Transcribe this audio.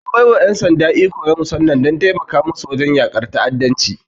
An bai wa ƴan sanda iko na musamman don taimaka musu wajen yakar ta'addanci.